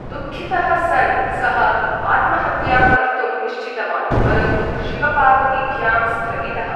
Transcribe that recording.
दुःखितः सन् सः आत्महत्यां कर्तुं निश्चितवान्, परन्तु शिवपार्वतीभ्यां स्थगितः।